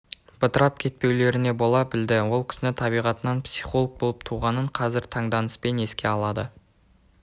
бытырап кетпеулеріне бола білді ол кісіні табиғатынан психолог болып туғанын қазір таңданыспен еске алады